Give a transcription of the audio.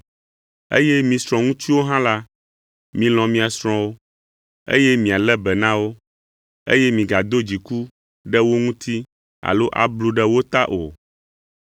Eye mi srɔ̃ŋutsuwo hã la, milɔ̃ mia srɔ̃wo, eye mialé be na wo, eye migado dziku ɖe wo ŋuti alo ablu ɖe wo ta o.